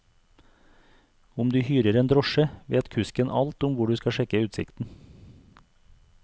Om du hyrer en drosje, vet kusken alt om hvor du skal sjekke utsikten.